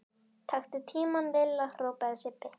Taktu tímann Lilla! hrópaði Sibbi.